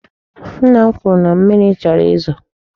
Nna m kwuru na mmiri chọrọ izo.